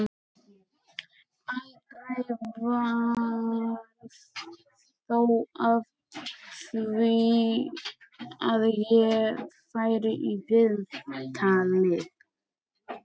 Aldrei varð þó af því að ég færi í viðtalið.